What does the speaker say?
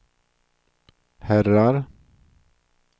herrar